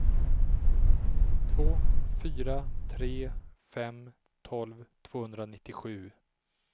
två fyra tre fem tolv tvåhundranittiosju